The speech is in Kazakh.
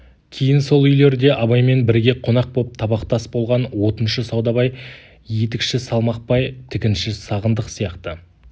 кейін сол үйлерде абаймен бірге қонақ боп табақтас болған отыншы саудабай етікші салмақбай тігінші сағындық сияқты